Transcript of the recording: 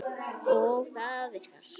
Og það virkar.